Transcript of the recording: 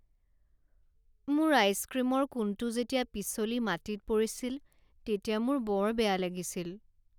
মোৰ আইচক্ৰীমৰ কোণটো যেতিয়া পিছলি মাটিত পৰিছিল তেতিয়া মোৰ বৰ বেয়া লাগিছিল।